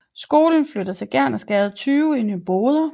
Skolen flytter til Gernersgade 20 i Nyboder